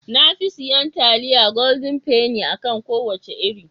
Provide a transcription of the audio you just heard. Na fi siyan taliyar goldin feni (Golden penny) a kan kowace iri.